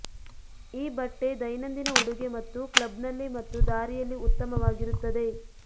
ಈ ಬಟ್ಟೆ ದೈನಂದಿನ ಉಡುಗೆ ಮತ್ತು ಕ್ಲಬ್ನಲ್ಲಿ ಮತ್ತು ದಾರಿಯಲ್ಲಿ ಉತ್ತಮವಾಗಿರುತ್ತದೆ